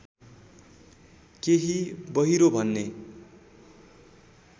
केही बहिरो भन्ने